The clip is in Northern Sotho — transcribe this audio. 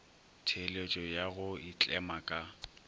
theeletšo ya go itlema ka